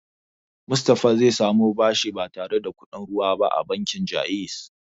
Musty zai samu bashi ba tare da kuɗin ruwa ba a bankin Ja'iz.